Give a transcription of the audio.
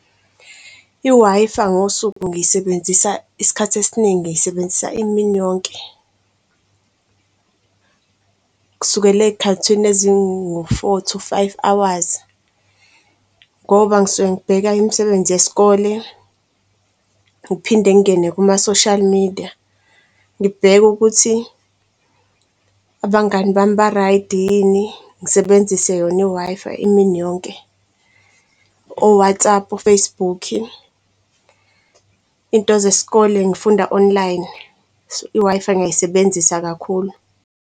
I-Wi-Fi ngosuku ngiyisebenzisa isikhathi esiningi ngiyisebenzisa imini yonke kusukela ey'khathini ezingu-four, two, five hours ngoba ngisuke ngibheka imisebenzi yesikole. Ngiphinde ngingene kuma-social media ngibheke ukuthi abangani bami ba-ray'di yini ngisebenzise yona i-Wi-Fi imini yonke o-Whatsapp, o-Facebook. Into zesikole ngifunda online so i-Wi-Fi ngiyayisebenzisa kakhulu.